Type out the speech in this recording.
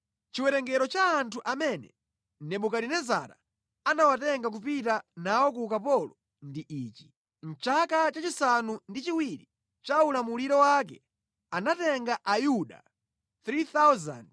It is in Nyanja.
Chiwerengero cha anthu amene Nebukadinezara anawatenga kupita nawo ku ukapolo ndi ichi: Mʼchaka cha chisanu ndi chiwiri cha ulamuliro wake, anatenga Ayuda 3,023;